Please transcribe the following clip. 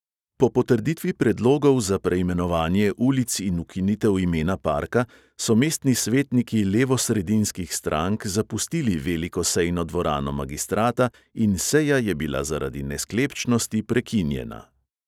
Po potrditvi predlogov za preimenovanje ulic in ukinitev imena parka so mestni svetniki levosredinskih strank zapustili veliko sejno dvorano magistrata in seja je bila zaradi nesklepčnosti prekinjena.